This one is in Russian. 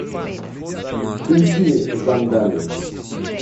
включи зандали